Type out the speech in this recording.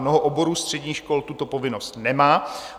Mnoho oborů středních škol tuto povinnost nemá.